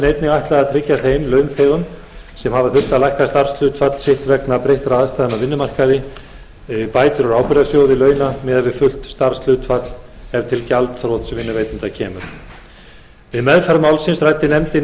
einnig ætlað að tryggja þeim launþegum sem hafa þurft að lækka starfshlutfall sitt vegna breyttra aðstæðna á vinnumarkaði bætur úr ábyrgðasjóði launa miðað við fullt starfshlutfall ef til gjaldþrots vinnuveitanda kemur við meðferð málsins ræddi nefndin